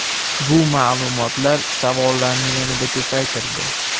Bu ma’lumotlar savollarni yanada ko‘paytirdi .